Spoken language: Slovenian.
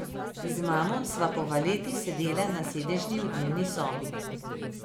Z mamo sva po valeti sedela na sedežni v dnevni sobi.